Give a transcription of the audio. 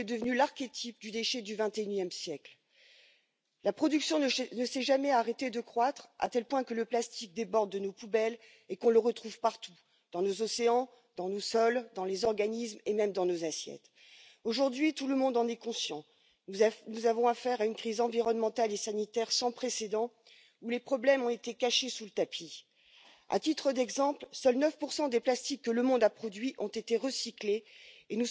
C'est pour cela que la stratégie plastique européenne est indispensable. La décision de la Chine d'interdire les importations de déchets plastiques européens nous offre une opportunité de créer les conditions d'un véritable marché intérieur pour les matières recyclées. Mais le problème, c'est le recyclage. Les obstacles à un meilleur recyclage sont essentiellement techniques et économiques. Je pense notamment à l'écart de coût entre les plastiques vierges et les plastiques recyclés. Il